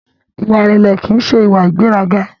Ìwà ìrẹlẹ ki n ṣe ìwà ìgbéraga.